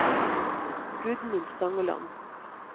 Gudmund Stangeland